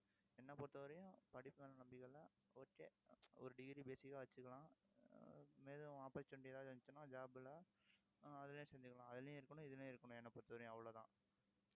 என்னை பொறுத்தவரையும் படிப்பு மேல நம்பிக்கை இல்லை. okay ஒரு degree basic ஆ வச்சுக்கலாம் ஆஹ் மேலும் opportunity எதாவது இருந்துச்சுன்னா, job ல ஆஹ் அதிலயே செஞ்சுக்கலாம். அதுலயும் இருக்கணும் இதுலயும் இருக்கணும் என்னை பொறுத்தவரைக்கும் அவ்வளோதான்